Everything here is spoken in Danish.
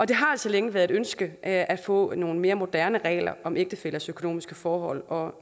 det har altså længe været et ønske at at få nogle mere moderne regler om ægtefællers økonomiske forhold og